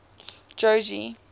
jogee